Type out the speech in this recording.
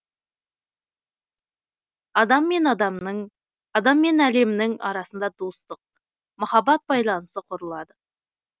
адам мен адамның адам мен әлемнің арасында достық махаббат байланысы құрылады